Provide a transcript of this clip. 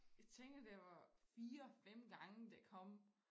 Jeg tænker det var 4 5 gange det kom